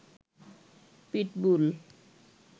pitbull